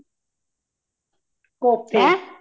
ਕੋਫਤੇ